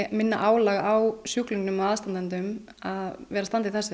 minna álag á sjúklinga og aðstandendur að vera að standa í þessu